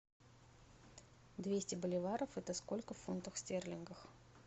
двести боливаров это сколько в фунтах стерлингах